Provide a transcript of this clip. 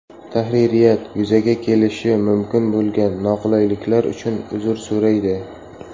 Tahririyat yuzaga kelishi mumkin bo‘lgan noqulayliklar uchun uzr so‘raydi.